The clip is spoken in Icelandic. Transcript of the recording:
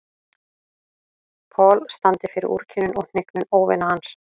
Paul standi fyrir úrkynjun og hnignun óvina hans.